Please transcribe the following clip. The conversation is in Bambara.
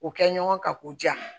O kɛ ɲɔgɔn ka k'o diyan